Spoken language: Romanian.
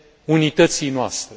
unității noastre.